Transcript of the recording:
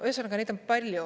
Ühesõnaga, neid on palju.